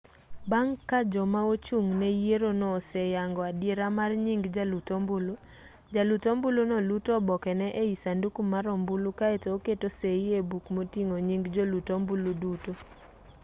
bang' ka joma ochung' ne yierono oseyango adiera mar nying jalut ombulu jalut ombuluno luto obokene ei sanduku mar ombulu kaeto oketo sei e buk moting'o nying jolut ombulu duto